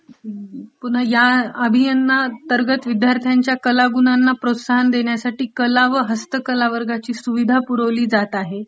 पुन्हा ह्या अभियाना अंतर्गत विद्यार्थ्यांमधिल कलागुणांना प्रोत्साहन देण्यसाठी कला व हस्तकला वर्गाची सुविधा पुरवली जातं आहे.